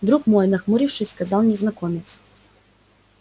друг мой нахмурившись сказал незнакомец